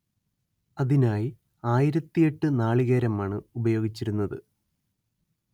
അതിനായി ആയിരത്തിയെട്ട് നാളികേരമാണ് ഉപയോഗിച്ചിരുന്നത്